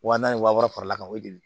Wa naani wa wɔɔrɔ fara l'a kan o de ye